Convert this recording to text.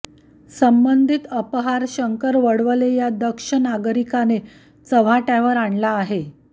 संबंधित अपहार शंकर वडवले या दक्ष नागरिकाने चव्हाटय़ावर आणला आहे